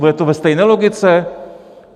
Bude to ve stejné logice?